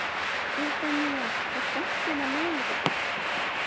Evfemía, er bolti á miðvikudaginn?